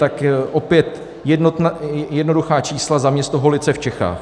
Tak opět jednoduchá čísla za město Holice v Čechách.